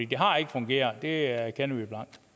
det har ikke fungeret det erkender